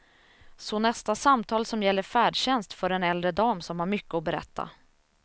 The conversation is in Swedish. Så nästa samtal som gäller färdtjänst för en äldre dam som har mycket att berätta.